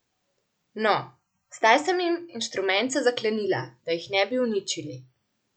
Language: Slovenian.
No, zdaj sem jim inštrumente zaklenila, da jih ne bi uničili.